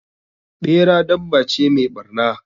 Ɓera dabba ce mai ɓarna.